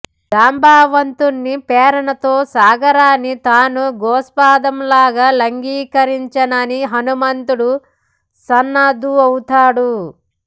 జాంబవంతుని ప్రేరణతో సాగరాన్ని తాను గోష్పాదం లాగా లంఘించగలనని హనుమంతుడు సన్నద్ధుడౌతాడు